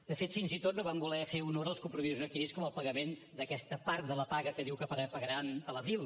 de fet fins i tot no van voler fer honor als compromisos adquirits com el pagament d’aquesta part de la paga que diu que pagaran a l’abril